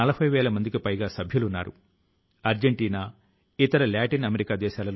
సహచరులారా ఈ ప్రయత్నం లో ఏక్ కదమ్ స్వచ్ఛతా కీ ఓర్ స్వచ్ఛత వైపు ఒక అడుగు ప్రచారం లో ప్రతి ఒక్కరి పాత్ర ప్రధానమైంది